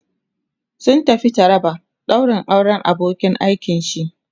sun tafi taraba daurin auran abokin aikin shi